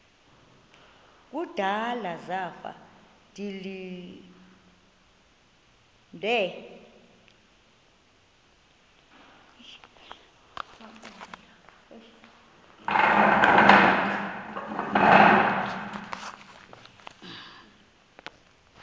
kudala zafa ndilinde